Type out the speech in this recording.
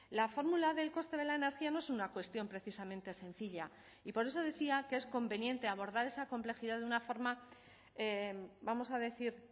la fórmula del coste de la energía no es una cuestión precisamente sencilla y por eso decía que es conveniente abordar esa complejidad de una forma vamos a decir